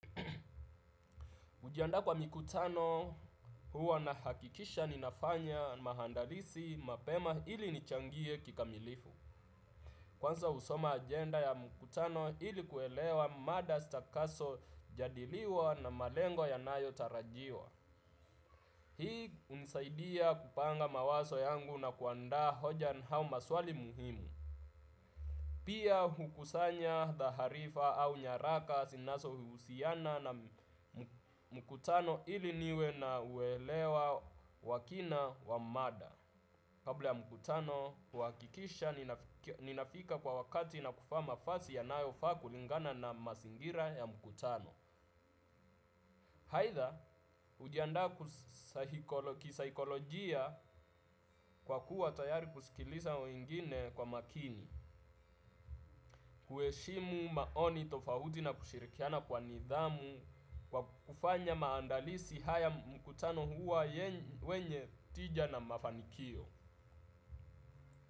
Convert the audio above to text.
Kujiandaa kwa mikutano, huwa nahakikisha ninafanya maandalizi mapema ili nichangie kikamilifu. Kwanza husoma agenda ya mkutano ili kuelewa mada zitakazojadiliwa na malengo yanayo tarajiwa. Hii hunisaidia kupanga mawazo yangu na kuandza hoja au maswali muhimu. Pia, hukusanya taarifa au nyaraka zinazo husiana na mkutano ili niwe na uelewa wa kina wa mada. Kabla ya mkutano, huakikisha ninafika kwa wakati na kuvaa mavazi yanayofaa kulingana na mazingira ya mkutano. Aidha, hujiandaa kisaikolojia kwa kuwa tayari kusikiliza wengine kwa makini. Kuheshimu maoni tofauti na kushirikiana kwa nidhamu. Kwa kufanya maandalizi haya mkutano huwa wenye tija na mafanikio.